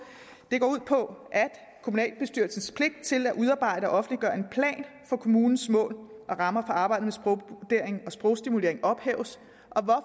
det går ud på at kommunalbestyrelsens pligt til at udarbejde og offentliggøre en plan for kommunens mål og rammer for arbejdet med sprogvurdering og sprogstimulering ophæves